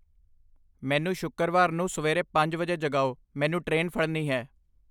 ਮੈਨੂੰ ਸ਼ੁੱਕਰਵਾਰ ਨੂੰ ਸਵੇਰੇ ਪੰਜ ਵਜੇ ਜਗਾਓ, ਮੈਨੂੰ ਟ੍ਰੇਨ ਫੜਨੀ ਹੈ।